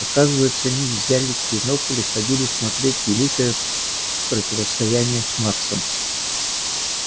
оказывается они взяли бинокль и ходили смотреть великое противостояние с марсом